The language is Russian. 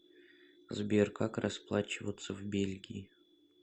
сбер как расплачиваться в бельгии